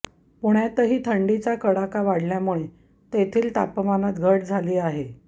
पुण्यातही थंडीचा कडाका वाढल्यामुळे तेथील तापमानात घट झाली आहे